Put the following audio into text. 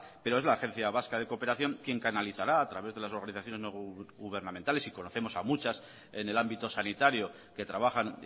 pero es la agencia vasca de cooperación quien canalizará a través de las organizaciones no gubernamentales y conocemos a muchas en el ámbito sanitario que trabajan